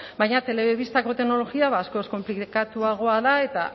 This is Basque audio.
baina telebistako teknologia ba askoz konplikatuagoa da eta